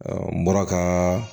n bɔra ka